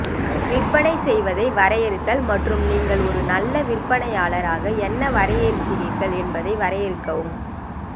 விற்பனை செய்வதை வரையறுத்தல் மற்றும் நீங்கள் ஒரு நல்ல விற்பனையாளர் ஆக என்ன வரையறுக்கிறீர்கள் என்பதை வரையறுக்கவும்